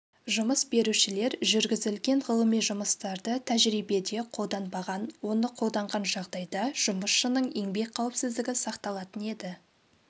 жұмыс берушілер жүргізілген ғылыми жұмыстарды тәжірибеде қолданбаған оны қолданған жағдайда жұмысшының еңбек қауіпсіздігі сақталатын еді